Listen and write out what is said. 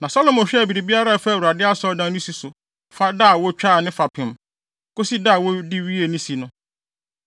Na Salomo hwɛɛ biribiara a ɛfa Awurade Asɔredan no si so fi da a wotwaa ne fapem, kosi da a wɔde wiee si no.